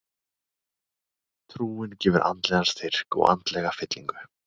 Trúin gefur andlegan styrk og andlega fyllingu.